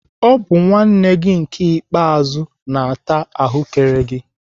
Ọ bụ nwanne gị nke ikpeazu na-ata ahụ́kere gị.